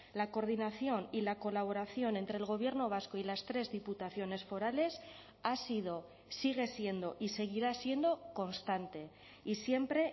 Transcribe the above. la coordinación y la colaboración entre el gobierno vasco y las tres diputaciones forales ha sido sigue siendo y seguirá siendo constante y siempre